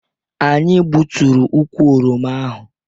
Anyị gbuturu ukwu oroma ahụ